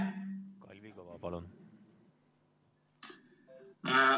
Kalvi Kõva, palun!